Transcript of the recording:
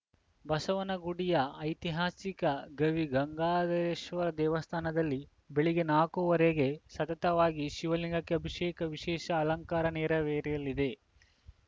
ಬಸವನಗುಡಿಯ ಐತಿಹಾಸಿಕ ಗವಿಗಂಗಾಧರೇಶ್ವರ ದೇವಸ್ಥಾನದಲ್ಲಿ ಬೆಳಗ್ಗೆ ನಾಕುವರೆಗೆ ಸತತವಾಗಿ ಶಿವಲಿಂಗಕ್ಕೆ ಅಭಿಷೇಕ ವಿಶೇಷ ಅಲಂಕಾರ ನೆರ ವೇರಲಿದೆ